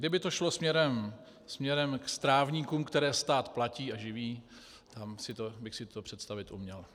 Kdyby to šlo směrem k strávníkům, které stát platí a živí, tam bych si to představit uměl.